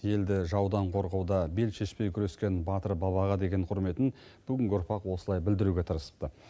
елді жаудан қорғауда бел шешпей күрескен батыр бабаға деген құрметін бүгінгі ұрпақ осылай білдіруге тырысыпты